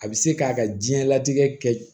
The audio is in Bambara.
A bɛ se k'a ka diɲɛlatigɛ kɛ